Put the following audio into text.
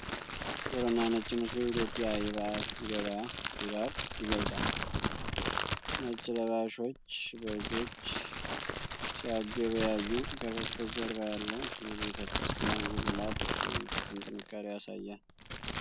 ጥቁርና ነጭ ምስሉ የኢትዮጵያን የበዓል ገበያ ድባብ ይገልጻል! ነጭ ለባሾች በጎች ሲያገበያዩ፣ ከበስተጀርባ ያለው የቤተክርስቲያን ጉልላት የመንፈስን ጥንካሬ ያሳያል ።